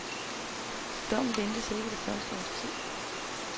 Dommen ventes ikke det første års tid.